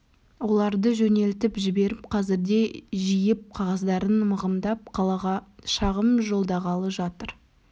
оларды жөнелтіп жіберіп қазірде жиып қағаздарын мығымдап қалаға шағым жолдағалы жатыр